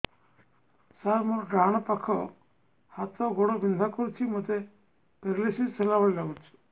ସାର ମୋର ଡାହାଣ ପାଖ ହାତ ଗୋଡ଼ ବିନ୍ଧା କରୁଛି ମୋତେ ପେରାଲିଶିଶ ହେଲା ଭଳି ଲାଗୁଛି